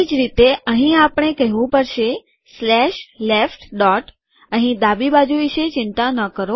એ જ રીતે અહીં આપણે કહેવું પડશે સ્લેશ લેફ્ટ ડોટ અહીં ડાબી બાજુ વિશે ચિંતા ન કરો